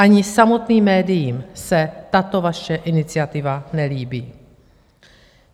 Ani samotným médiím se tato vaše iniciativa nelíbí.